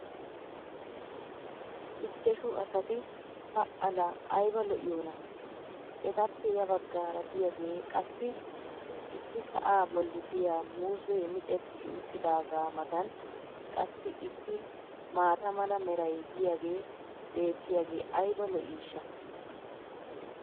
ichchashu asati pa laa ayba lo'iyoonaa! etappe ya bagaara diyaagee qassi issi sa"aa boli diyaa muuzzee micetti uttidaagaa matan qassi issi maata mala meray diyaagee beetiyaage ayba lo'iishsha!